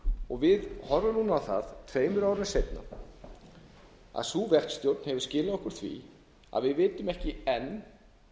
við horfum núna á það tveimur árum seinna að sú verkstjórn hefur skilað okkur því að við vitum ekki enn